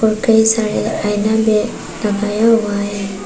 और कई सारे आइना भी लगाया हुआ है।